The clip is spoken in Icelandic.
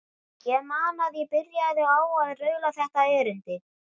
Ég man að ég byrjaði á að raula þetta erindi: